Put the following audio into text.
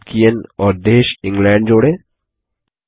Tolkien और देश England जोड़ें